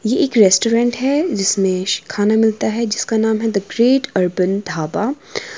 ये एक रेस्टोरेंट है जिसमें खाना मिलता है जिसका नाम है द ग्रेट अर्बन ढाबा।